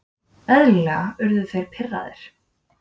Eðlilega urðu þeir pirraðir.